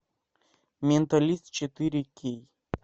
менталист четыре кей